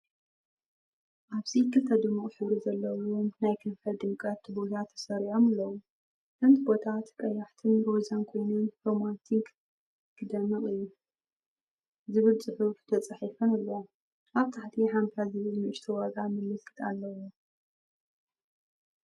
ኣብዚ ክልተ ድሙቕ ሕብሪ ዘለዎም ናይ ከንፈር ድምቀት ቱቦታት ተሰሪዖም ኣለዉ። እተን ቱቦታት ቀያሕትን ሮዛን ኮይነን “ሮማንቲክ ክደምቕ"እዩ። ዝብል ጽሑፍ ተጻሒፈን ኣለዋ። ኣብ ታሕቲ “50” ዝብል ንእሽቶ ዋጋ ምልክት ኣሎ።